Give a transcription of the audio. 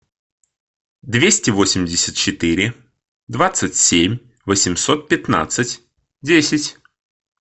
двести восемьдесят четыре двадцать семь восемьсот пятнадцать десять